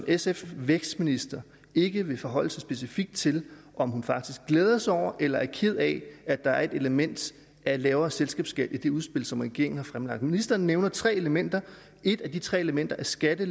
sf vækstminister ikke vil forholde sig specifikt til om hun faktisk glæder sig over eller er ked af at der er et element af lavere selskabsskat i det udspil som regeringen har fremlagt ministeren nævner tre elementer et af de tre elementer er skatte